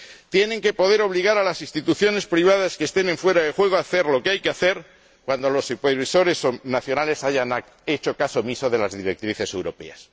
Tienen que poder obligar a las instituciones privadas que estén en fuera de juego a hacer lo que hay que hacer cuando los supervisores nacionales hayan hecho caso omiso de las directrices europeas.